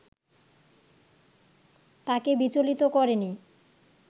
তাঁকে বিচলিত করেনি